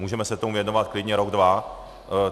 Můžeme se tomu věnovat klidně rok, dva.